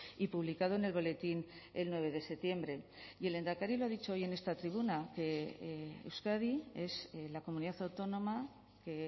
y publicado en el boletín el nueve de septiembre y el lehendakari lo ha dicho hoy en esta tribuna que euskadi es la comunidad autónoma que